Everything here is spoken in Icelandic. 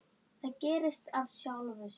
Það gerðist af sjálfu sér.